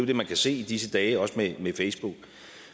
det man kan se i disse dage også med facebook